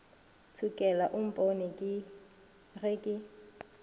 ntšhokela o mpone ge ke